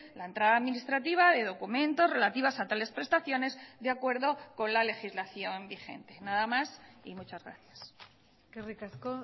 la entrada administrativa de documentos relativas a tales prestaciones de acuerdo con la legislación vigente nada más y muchas gracias eskerrik asko